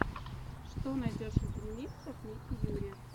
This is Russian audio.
что найдешь из ремиксов ники юри